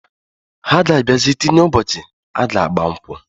Ha ga abiazi tinye ụbọchi aga agba nkwu.